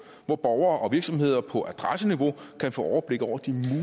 hvor borgere og virksomheder på adresseniveau kan få overblik over de